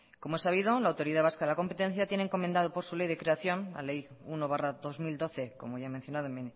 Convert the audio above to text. como es sabido la autoridad vasca de la competencia tiene encomendado por su ley de creación la ley uno barra dos mil doce como ya he mencionado en